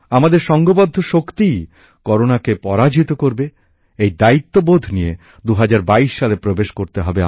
আমাদের সঙ্ঘবদ্ধ শক্তিই করোনাকে পরাজিত করবে এই দায়িত্ববোধ নিয়ে আমাদের ২০২২ সালে প্রবেশ করতে হবে